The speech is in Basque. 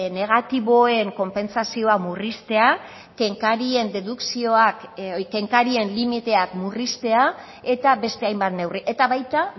negatiboen konpentsazioa murriztea kenkarien dedukzioak kenkarien limiteak murriztea eta beste hainbat neurri eta baita